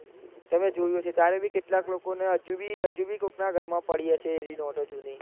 તમે જોયું હશે ધારોકે અમુક કેટલા લોકો હજુ બી હજુ બી કોક ના ઘરે પડી હશે એએવી નોટો જૂની